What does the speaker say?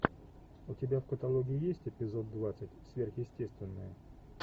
у тебя в каталоге есть эпизод двадцать сверхъестественное